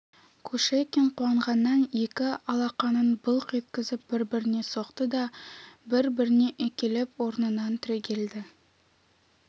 кушекин қуанғаннан екі алақанын былқ еткізіп бір-біріне соқты да бір-біріне үйкелеп орнынан түрегелді